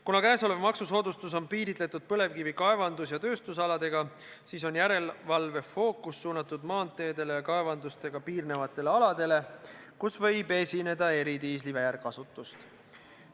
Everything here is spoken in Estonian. Kuna kõnealune maksusoodustus on piiritletud põlevkivi kaevandamise ja -tööstusaladega, siis on järelevalve fookus suunatud maanteedele ja kaevandustega piirnevatele aladele, kus võib esineda eridiisli väärkasutust.